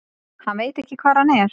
Hann veit ekki hvar hann er.